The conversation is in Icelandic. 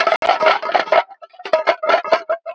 Agnar, Svala og börn.